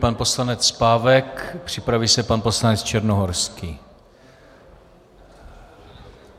Pan poslanec Pávek, připraví se pan poslanec Černohorský.